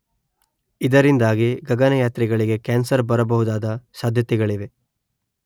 ಇದರಿಂದಾಗಿ ಗಗನಯಾತ್ರಿಗಳಿಗೆ ಕ್ಯಾನ್ಸರ್ ಬರಬಹುದಾದ ಸಾಧ್ಯತೆಗಳಿವೆ